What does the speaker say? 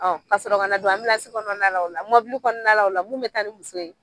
Ka sɔrɔ kana don kɔnɔna la o la mɔbili kɔnɔna la o la mun bɛ taa ni muso ye.